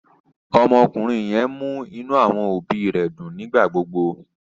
Ọmọkùnrin yẹn mú inú àwọn òbí rẹ̀ dùn nígbà gbógbó